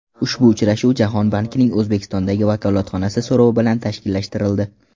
Ushbu uchrashuv Jahon bankining O‘zbekistondagi vakolatxonasi so‘rovi bilan tashkillashtirildi.